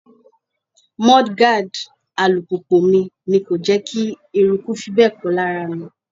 Mudguard alùpùpù mi ni kò jẹ́ kí eruku fi bẹ́ẹ̀ pọ̀ lára mi.